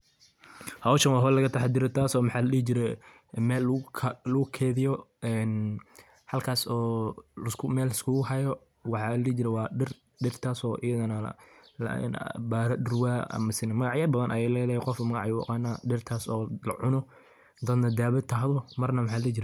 Howshaan waa howl lagaa taxaa daare taaso maxa laa dihii jiire meel laguu keeydio een halkaas oo mel laiskugu haayo waxa laa dihi jiire waa diir. diirtas oo iyadanaa baaro duurwa amasaane magaacya badaan ayeey ledahay. qofbaa maagac ayuu uu aqana . diirtas oo laa cuuno marna daawo tahdoo marna maxa laa dihi jiire